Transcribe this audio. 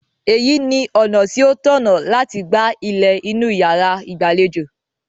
Èyí ni ọ̀nà tí ó tọ̀nà láti gba ilẹ̀ inú yàrá ìgbàlejò.